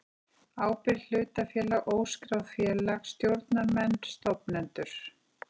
ábyrgð hlutafélag óskráð félag stjórnarmenn stofnendur